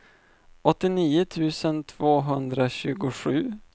åttionio tusen tvåhundratjugosju